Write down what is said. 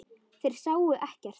Þeir sáu ekkert.